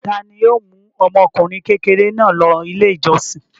Ta ni yóò mú ọmọkùnrin kékeré náà lọ Ilé-ìjọsìn?